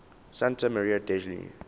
santa maria degli